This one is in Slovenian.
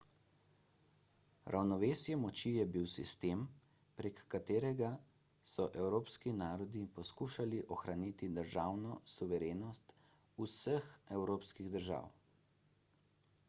ravnovesje moči je bil sistem prek katerega so evropski narodi poskušali ohraniti državno suverenost vseh evropskih držav